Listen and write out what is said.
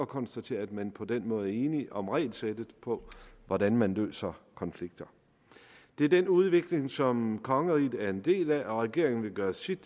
konstatere at man på den måde er enige om regelsættet for hvordan man løser konflikter det er den udvikling som kongeriget er en del af og regeringen vil gøre sit